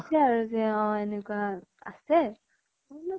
আৰু যে অ এনেকুৱা আছে, মই বুলু